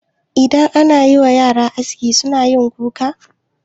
Idan anayiwa yara aski sunayin kuka.